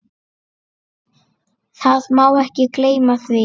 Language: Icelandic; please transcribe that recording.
Það má ekki gleyma því.